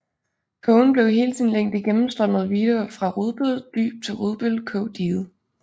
Kogen blev i hele sin længde gennemstrømmet af Vidå fra Rudbøl Dyb til Rudbøl Kog Diget